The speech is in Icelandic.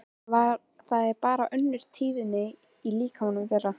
Það er bara önnur tíðni í líkamanum þeirra.